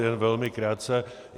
Jen velmi krátce.